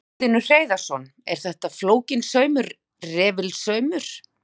Magnús Hlynur Hreiðarsson: Er þetta flókinn saumur, refilsaumur?